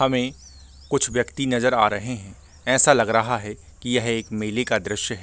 हमें कुछ व्यक्ति नजर आ रहें हैं ऐसा लग रहा है कि यह एक मेले का दृश्य है ।